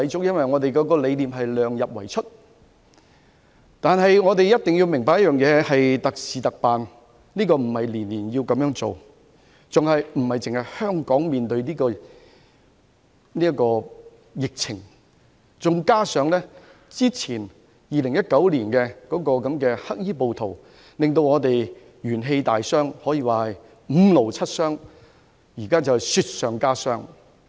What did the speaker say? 因為這條文的理念是量入為出，但我們一定要明白這是特事特辦，不是每年都這樣做，還有的是香港不單正面對疫情，加上2019年"黑衣暴徒"令我們元氣大傷，可說是五勞七傷，現在是雪上加霜。